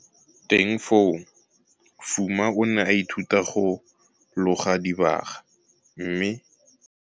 Teng foo Fuma o ne a ithuta go loga dibaga, mme.